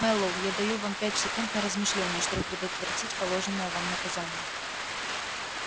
мэллоу я даю вам пять секунд на размышление чтобы предотвратить положенное вам наказание